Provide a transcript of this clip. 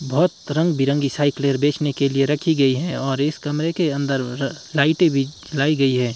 बहुत रंग बिरंगी साइकिलें बेचने के लिए रखी गई है और इस कमरे के अन्दर लाइटें भी जलाई गई हैं।